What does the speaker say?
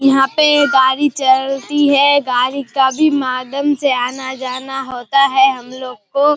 यहाँ पे गाड़ी चलती है गाड़ी के भी माध्यम से आना-जाना होता है हम लोग को।